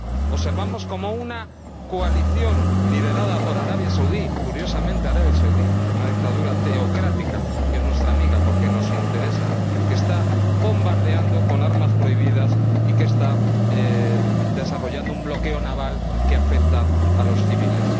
Observamos cómo una coalición liderada por Arabia Saudí —curiosamente, Arabia Saudí, una dictadura teocrática que es nuestra amiga porque nos interesa— está bombardeando con armas prohibidas y está desarrollando un bloqueo naval que afecta a los civiles.